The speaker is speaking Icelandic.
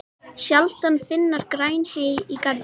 Sjaldan fyrnast græn hey í garði.